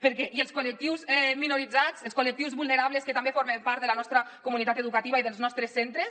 perquè i els col·lectius minoritzats els col·lectius vulnerables que també formen part de la nostra comunitat educativa i dels nostres centres